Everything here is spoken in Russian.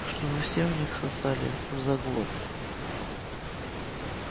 чтобы все у них сосали взаглот